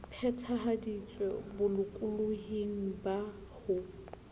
phethahaditswe o bolokolohing ba ho